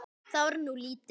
Það var nú lítið.